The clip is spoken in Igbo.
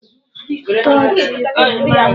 Ụtọ ji bụ mmanụ.